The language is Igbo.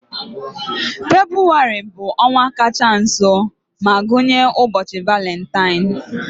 Febụwarị bụ ọnwa kacha nso ma gụnye ụbọchị Valentine.